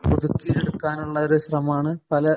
ഒതുക്കിയെടുക്കാന്‍ ഉള്ള ഒരു ശ്രമമാണ് പല